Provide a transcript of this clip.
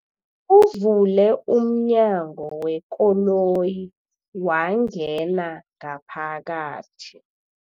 Uvule umnyango wekoloyi wangena ngaphakathi.